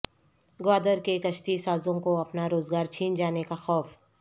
گوادر کے کشتی سازوں کو اپنا روزگار چھن جانے کا خوف